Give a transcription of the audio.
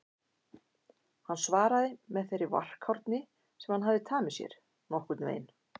Hann svaraði með þeirri varkárni sem hann hafði tamið sér: Nokkurn veginn